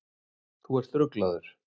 Þú ert ruglaður.